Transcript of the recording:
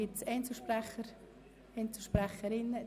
Gibt es Einzelsprecherinnen oder -sprecher?